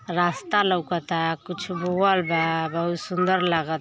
रास्ता लौउकता कुछ बोवल बा बहुत सुन्दर लाग --